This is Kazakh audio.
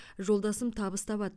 жолдасым табыс табады